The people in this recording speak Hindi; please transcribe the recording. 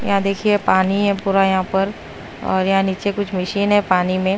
यहां देखिए पानी है पूरा यहां पर और यहां नीचे कुछ मशीन है पानी में।